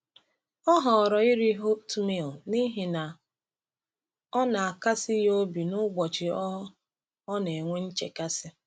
Ọ họọrọ iri oatmeal n’ihi na ọ na-akasi ya obi n’ụbọchị ọ ọ na-enwe nchekasị.